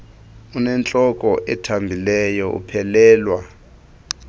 unentloko ethambileyo uphelelwa